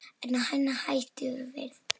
Er hann hættur við?